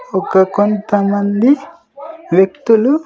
ఒక కొంతమంది వ్యక్తులు.